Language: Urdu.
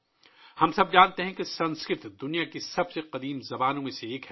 ہم سب جانتے ہیں کہ سنسکرت دنیا کی قدیم ترین زبانوں میں سے ایک ہے